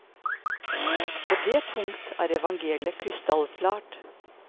På dét punkt er evangeliet krystallklart.